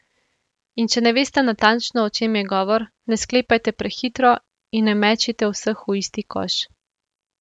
In če ne veste natančno, o čem je govor, ne sklepajte prehitro in ne mečite vseh v isti koš.